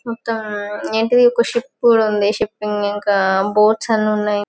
ఒక ఏంటి ది ఒక షిప్ ఉంది షిప్పింగ్ ఇంకా బోట్స్ అన్ని ఉన్నాయ్.